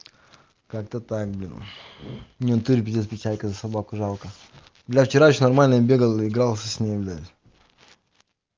как-то дима не в натуре пиздец председателя собаку жалко бля вчера ещё нормально я бегал игрался с ней блядь